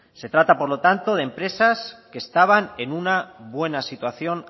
se trata por lo tanto de empresas que estaban en una buena situación